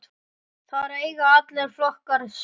Þar eiga allir flokkar sök.